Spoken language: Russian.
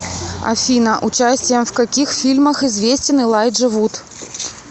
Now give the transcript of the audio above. афина участием в каких фильмах известен элайджа вуд